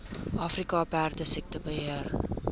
afrika perdesiekte beheer